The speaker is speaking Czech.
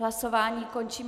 Hlasování končím.